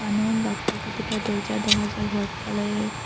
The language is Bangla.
দরজা দেখা যার হোয়াইট কালারের।